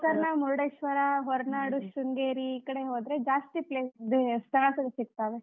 ಗೋಕರ್ಣ, ಮುರುಡೇಶ್ವರಾ, ಹೊರನಾಡು, ಶೃಂಗೇರಿ ಈ ಕಡೆ ಹೋದ್ರೆ ಜಾಸ್ತಿ place ಸ್ಥಳಗಳು ಸಿಗ್ತಾವೆ.